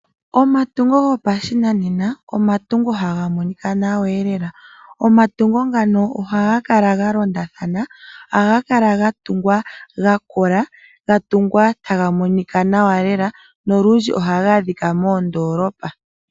Omatungo gopashinanena, omatungo haga monika nawa elela. Omatungo ngano ohaga kala ga londathana. Ohaga kala ga tungwa ga kola, ga tungwa taga monika nawa lela nolundji ohaga adhika moondoolopa.